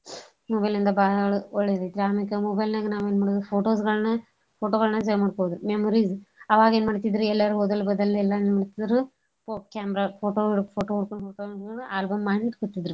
mobile ಇಂದ ಬಾಳ್ ಒಳ್ಳೆದೈತ್ರಿ ಅಮ್ಯಾಕ mobile ನ್ಯಾಗ ನಾವ್ ಎನ್ ಮಾಡೋದ್ರಿ photos ಗಳ್ನ photo ಗಳ್ನ್ save ಮಾಡ್ಕೋಳೊದ್ ರಿ memories ಅವಾಗ್ ಎನ್ ಮಾಡ್ತಿದ್ರ ಎಲ್ಲೇರ್ ಹೋದಲ್ಲೇ ಬಂದಲ್ಲೇ ಎಲ್ಲಾನೂ ಹೊ camera photo photo ಹೊಡ್ಕೊಂಡ್ ಇಟ್ಗೊಳೋದು album ಮಾಡಿ ಇಟ್ಬಿಡತಿದ್ರಿ.